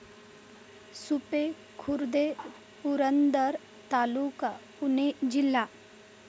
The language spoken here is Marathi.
सुपे खुर्द, पुरंदर तालुका, पुणे जिल्हा